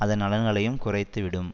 அதன் நலன்களையும் குறைத்து விடும்